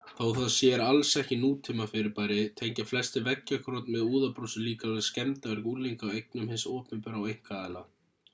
þó það sér alls ekki nútímafyrirbæri tengja flestir veggjakrot með úðabrúsum líklega við skemmdarverk unglinga á eignum hins opinbera og einkaaðila